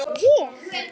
Ég?